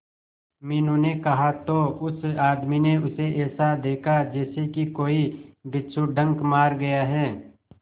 मीनू ने कहा तो उस आदमी ने उसे ऐसा देखा जैसे कि कोई बिच्छू डंक मार गया है